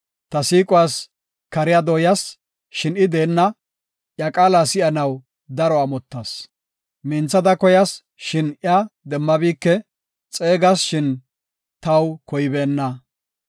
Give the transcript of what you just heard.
Ta siiquwas kariya dooyas, shin I deenna; iya qaala si7anaw daro amottas. Minthada koyas, shin iya demmabike; xeegas, shin taw koybeenna.